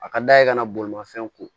A ka d'a ye ka na bolimafɛn ko